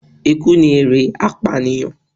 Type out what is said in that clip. Ikú ni èrè apànìyàn.